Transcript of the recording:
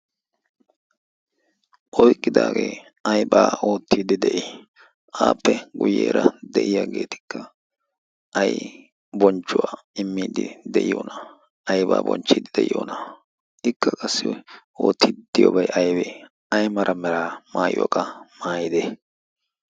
oyqqidaagee aybaa oottiiddi de'ii aappe guyyeera de'iyaageetikka ay bonchchuwaa immiiddi de'iyoona aybaa bonchchiiddi de'iyoona ikka qassi oottiiddiyoobay aybee ay mala meraa maayuwaa qa maayide